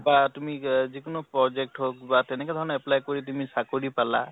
বা তুমি যিকোনো project হৌক বা তেনেকুৱা ধৰণৰ apply কৰি তুমি চাকৰি পালা ।